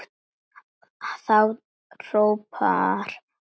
Þá hrópar fólk húrra.